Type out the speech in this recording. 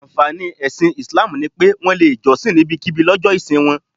Ànfàní ẹ̀sìn Islam ni pé, Wọ́n lè jọ́sìn níbikíbi lọ́jọ́ ìsìn wọn